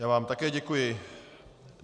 Já vám také děkuji.